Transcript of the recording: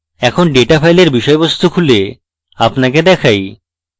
এখন data file বিষয়বস্তু খুলে আপনাকে দেখাই